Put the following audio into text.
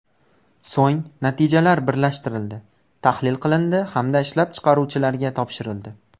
So‘ng, natijalar birlashtirildi, tahlil qilindi hamda ishlab chiqaruvchilarga topshirildi.